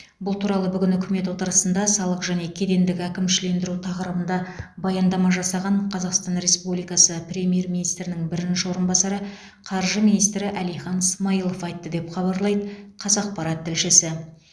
бұл туралы бүгін үкімет отырысында салық және кедендік әкімшілендіру тақырыбында баяндама жасаған қазақстан республикасы премьер министрінің бірінші орынбасары қаржы министрі әлихан смайылов айтты деп хабарлайды қазақпарат тілшісі